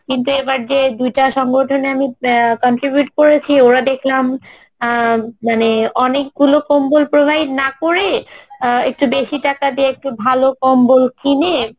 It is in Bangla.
কিন্তু এবার যে দুইটা সংগঠনে আমি contribute করেছি ওরা দেখলাম আহ মানে অনেকগুলো কম্বল provide না করে আহ একটু বেশী টাকা দিয়ে একটু ভালো কম্বল কিনে